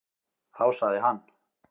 Þá sagði hann: